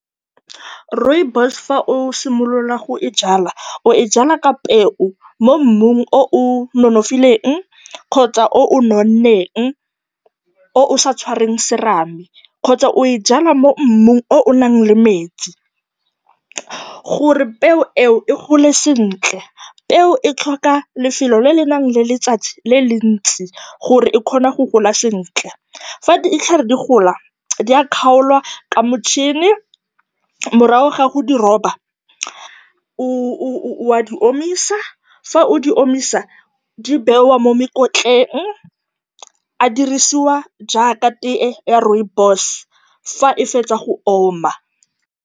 Rooibos fa o simolola go e jwala, o e jwala ka peo mo mmung o o nonofileng kgotsa o o nonneng, o o sa tshwareng serame kgotsa o e jwala mo mmung o o nang le metsi gore peo eo e gole sentle. Peo e tlhoka lefelo le le nang le letsatsi le le ntsi gore e kgone go gola sentle. Fa ditlhare di gola, di a kgaolwa ka motšhini. Morago ga go di roba, o a di omisa, fa o di omisa, di bewa mo mekotleng, a dirisiwa jaaka teye ya rooibos fa e fetsa go oma.